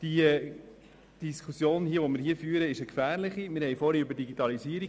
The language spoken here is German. rievereins (HIV) sind, sagen würde, dass ich dies abgelehnt hätte, würden sie mich für verrückt halten.